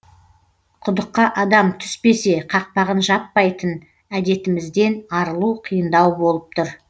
құдыққа адам түспесе қақпағын жаппайтын әдетімізден арылу қиындау болып тұр